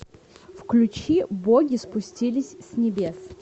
включи боги спустились с небес